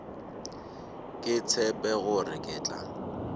ke tshepe gore ke tla